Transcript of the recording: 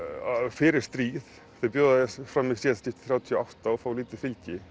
fyrir stríð þeir bjóða fram í síðasta skipti þrjátíu og átta og fá lítið fylgi